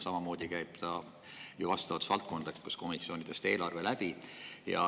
Samamoodi käib eelarve ju vastavatest valdkondlikest komisjonidest läbi.